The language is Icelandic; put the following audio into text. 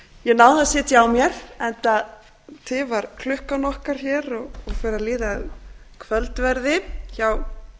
ég náði að sitja á mér enda tifar klukkan okkar hér og fer að líða að kvöldverði hjá